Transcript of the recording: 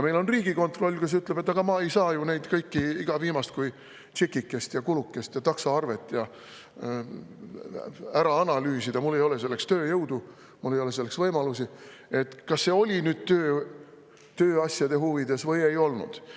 Meil on Riigikontroll, kes ütleb, et ta ei saa ju neid kõiki, iga viimast kui tšekikest ja kulukest ja taksoarvet ära analüüsida – tal ei ole selleks tööjõudu, tal ei ole selleks võimalusi –, kas see oli tööasjade huvides või ei olnud.